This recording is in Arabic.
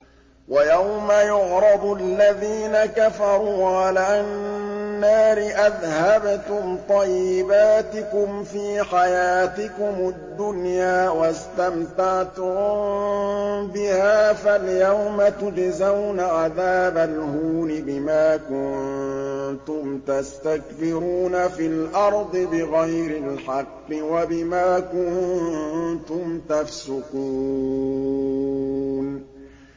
وَيَوْمَ يُعْرَضُ الَّذِينَ كَفَرُوا عَلَى النَّارِ أَذْهَبْتُمْ طَيِّبَاتِكُمْ فِي حَيَاتِكُمُ الدُّنْيَا وَاسْتَمْتَعْتُم بِهَا فَالْيَوْمَ تُجْزَوْنَ عَذَابَ الْهُونِ بِمَا كُنتُمْ تَسْتَكْبِرُونَ فِي الْأَرْضِ بِغَيْرِ الْحَقِّ وَبِمَا كُنتُمْ تَفْسُقُونَ